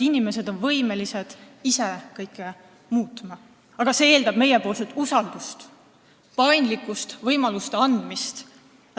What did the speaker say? Inimesed on võimelised ise kõike muutma, aga see eeldab meie poolt usaldust, paindlikkust ja võimaluste andmist.